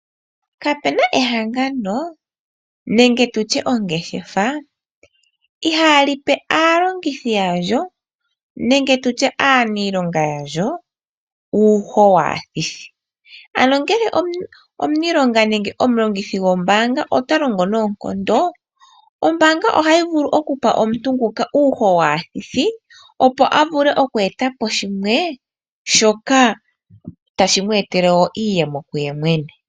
Kapena ehangano nenge tutye ongeshefa ihalipe aalongithi yalyo nenge tutye aaniilonga yalyo uuho waathithi, anongele omulongithi gombaanga otalongo noonkondo, ombaanga ohatu vulu okupa omuntu nguka uuho waathithi opo a vule okweetapo shoka tashi my eye le iiyemo kuye mwene.